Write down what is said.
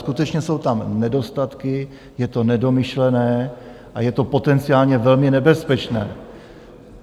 Skutečně jsou tam nedostatky, je to nedomyšlené a je to potenciálně velmi nebezpečné.